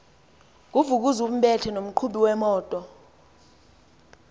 nguvukuzumbethe nomqhubi wemoto